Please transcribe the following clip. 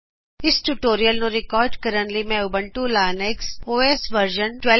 ਇਸ ਟਯੂਟੋਰਿਅਲ ਨੂੰ ਰਿਕਾਰਡ ਕਰਨ ਲਈ ਮੈਂ Ubuntu Linux O S version 1204